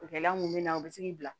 Gɛlɛya mun bɛ na o be se k'i bila